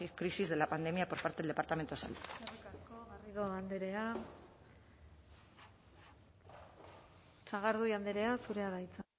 crisis de la pandemia por parte del departamento de salud eskerrik asko garrido andrea sagardui andrea zurea da hitza